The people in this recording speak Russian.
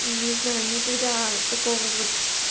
не знаю никогда такого вот